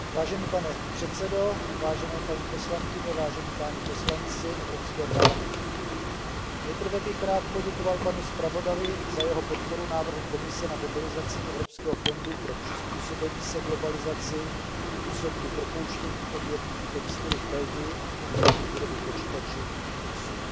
Vážený pane předsedo, vážené paní poslankyně, vážení páni poslanci Evropského parlamentu, nejprve bych rád poděkoval panu zpravodajovi za jeho podporu návrhu Komise na mobilizaci Evropského fondu pro přizpůsobení se globalizaci v důsledku propouštění v odvětví textilu v Belgii a v odvětví výroby počítačů v Irsku.